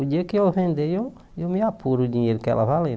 O dia que eu vender, eu eu me apuro o dinheiro que ela valer